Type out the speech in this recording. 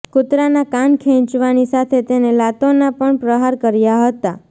કૂતરાના કાન ખેંચવાની સાથે તેને લાતોના પણ પ્રહાર કર્યા હતાં